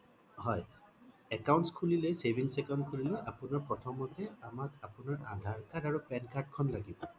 হয় accounts খুলিলে savings account খুলিবলৈ আপোনাৰ প্ৰথমতে আপোনাৰ আমাক আধাৰ card আৰু pan card খন লাগিব